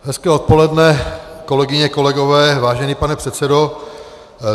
Hezké odpoledne, kolegyně, kolegové, vážený pane předsedo.